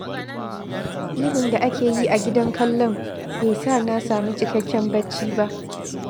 Ihun da ake yi a gidan kallon, bai sa na sami cikakken bacci ba